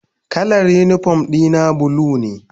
Kalar unipom dina bula ne.